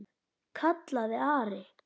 kallaði Ari.